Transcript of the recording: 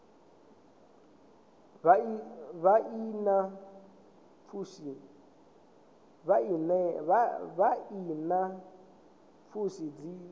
vha i na pfushi dzi